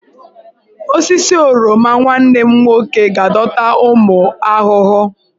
Osisi oroma nwanne m nwoke ga-adọta ụmụ ahụhụ.